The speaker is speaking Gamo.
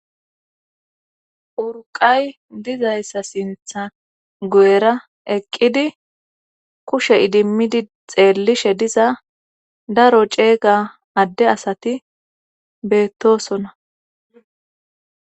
urqay dizayssa sintha go7era eqqidi kushe idimmidi xeellishe diza daro ceega adde asati beettosona